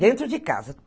Dentro de casa.